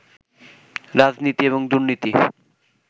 রাজনীতি এবং দুর্নীতি